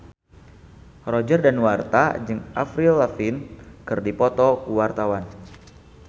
Roger Danuarta jeung Avril Lavigne keur dipoto ku wartawan